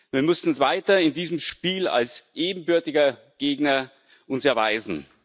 Wir müssen uns weiter in diesem Spiel als ebenbürtiger Gegner erweisen.